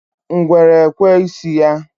Ngwere ekwe isi ya.